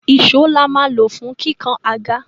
Ìsó la máa lò fún kíkàn àga.